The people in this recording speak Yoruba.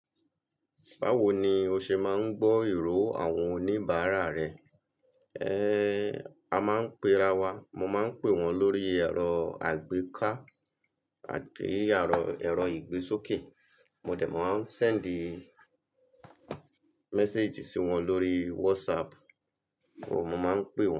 Báwo ni o ṣe máa ń gbọ́ ìró àwọn oníbàárà rẹ? Ehn, a máa ń pera wa. Mo máa ń pè wọ́n lórí ẹ̀rọ àgbéká àti ẹ̀rọ, ẹ̀rọ ìgbésókè. Mo dẹ̀ máa ń sendi message sí wọn lórí WhatsApp o mo máa ń pè wọ́n.